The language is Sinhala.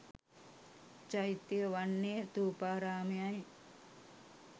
චෛත්‍යය වන්නේ ථූපාරාමයයි.